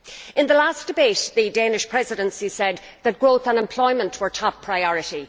In the last debate, the Danish Presidency said that growth and employment were top priority